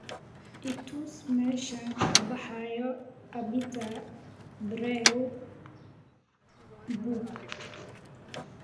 i tus meeshaan ka baxayo abita brew pub